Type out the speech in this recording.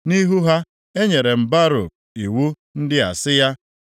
“Nʼihu ha, enyere m Baruk iwu ndị a sị ya,